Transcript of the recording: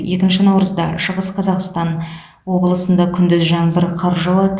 екінші наурызда шығыс қазақстан облысында күндіз жаңбыр қар жауады